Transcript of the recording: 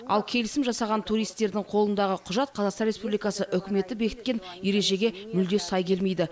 ал келісім жасаған туристердің қолындағы құжат қазақстан республикасы үкіметі бекіткен ережеге мүлде сай келмейді